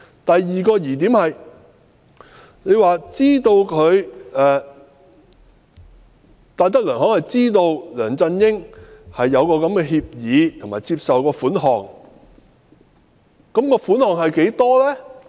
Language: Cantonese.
第二個疑點是，律政司指戴德梁行知悉梁振英簽訂了該項協議和接受款項，但款項的金額是多少呢？